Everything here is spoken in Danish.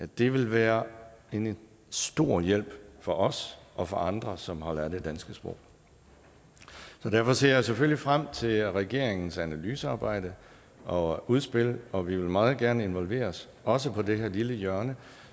det vil være en stor hjælp for os og for andre som holder af det danske sprog så derfor ser jeg selvfølgelig frem til regeringens analysearbejde og udspil og vi vil meget gerne involveres også på det her lille hjørne